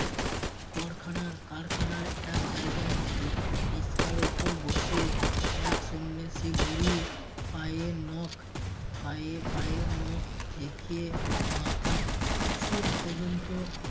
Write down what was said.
করখানার কারখানার এক জায়গায় বি~ বিসকার উপর বসে এক সন্ন্যাসী বুড়ি পায়ের নখ পায়ে পায়ের নখ থেকে মাথার চুল পর্যন্ত